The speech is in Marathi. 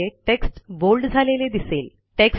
त्यामुळे टेक्स्ट बोल्ड झालेले दिसेल